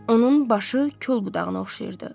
Onun başı kol budağına oxşayırdı.